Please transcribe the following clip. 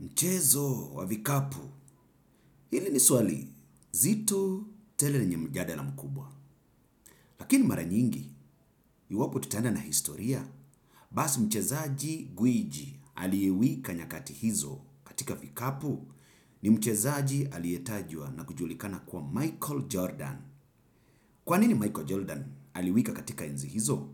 Mchezo wa vikapu, hili ni swali, nzito tele yenye mjadala mkubwa. Lakini mara nyingi, iwapo tutaenda na historia? Basi mchezaji gwiji aliyewika nyakati hizo katika vikapu ni mchezaji aliyetajwa na kujulikana kuwa Michael Jordan. Kwanini Michael Jordan aliwika katika enzi hizo?